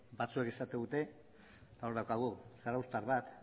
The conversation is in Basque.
batzuek esaten dute eta hor daukagu zarauztar bat